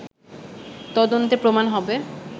তদন্তে প্রমাণ হবে